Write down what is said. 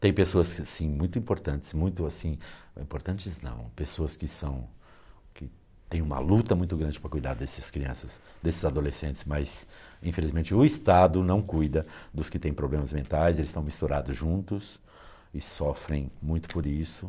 Tem pessoas assim, muito importantes, muito assim, importantes não, pessoas que são que têm uma luta muito grande para cuidar dessas crianças, desses adolescentes, mas infelizmente o Estado não cuida dos que têm problemas mentais, eles estão misturados juntos e sofrem muito por isso.